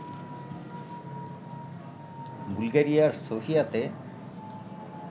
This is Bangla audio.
বুলগেরিয়ার সোফিয়াতে